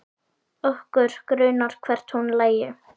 Okkur grunaði hvert hún lægi.